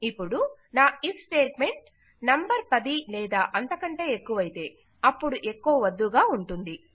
ఇప్పుడు నా if statement number 10 లేదా అంతకంటే ఎక్కువయితే అపుడు ఎకొ వద్దు గా ఉంటుంది